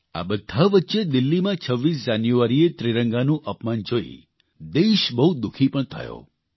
આ બધા વચ્ચે દિલ્હીમાં 26 જાન્યુઆરીએ ત્રિરંગાનું અપમાન જોઇ દેશ બહુ દુઃખી પણ થયો